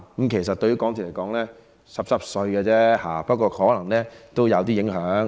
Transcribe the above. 這其實對港鐵來說只是小意思而已，不過可能也會有一點影響。